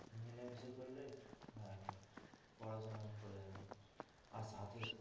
মিলে মিশে করলে হ্যাঁ হ্যাঁ পড়া শোনা করা যাবে আর